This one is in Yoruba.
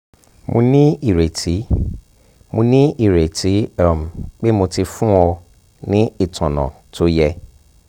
mo ní ìrètí mo ní ìrètí um pé mo ti fún ọ um ní ìtọ́nà tó yẹ